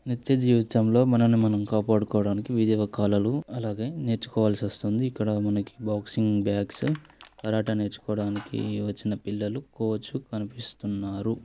నిత్య జీవితంలో మనల్ని మనం కాపాడుకోవడానికి వివిధ కలలు అలాగే నేర్చుకోవాల్సి వస్తుంది ఇక్కడ మనకి బాక్సింగ్ బ్యాగ్స్ కరాటే నేర్చుకోవడానికి చిన్నపిల్లలు కోచ్ కనిపిస్తున్నారు..